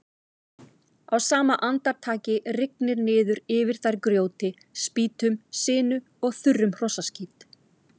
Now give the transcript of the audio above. Á sama andartaki rigndi niður yfir þær grjóti, spýtum, sinu og þurrum hrossaskít.